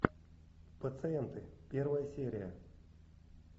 пациенты первая серия